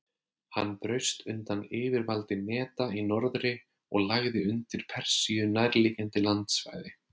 Hann braust undan yfirvaldi Meda í norðri og lagði undir Persíu nærliggjandi landsvæði.